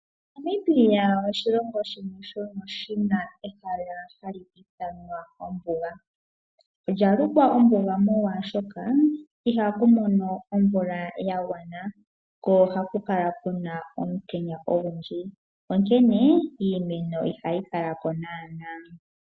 Namibia oshilongo shimwe shina ehala hali ithanwa ombuga. Olya lukwa ombuga molwaashoka ihaku mono omvula yagwana , ko ohaku kala kuna omutenya ogundji , onkene iimeno ihayi kala ko naanaa.